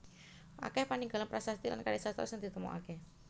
Akèh paninggalan prasasti lan karya sastra sing ditemokaké